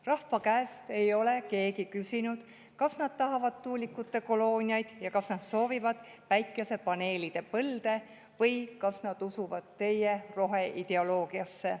Rahva käest ei ole keegi küsinud, kas nad tahavad tuulikute kolooniaid ja kas nad soovivad päikesepaneelide põlde või kas nad usuvad teie roheideoloogiasse.